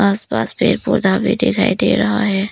आसपास पेड़ पौधा भी दिखाई दे रहा है।